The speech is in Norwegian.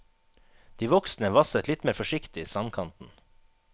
De voksne vasset litt mer forsiktig i strandkanten.